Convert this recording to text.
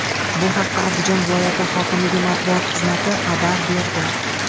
Bu haqda Andijon viloyati hokimligi matbuot xizmati xabar berdi .